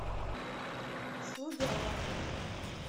слуги аллаха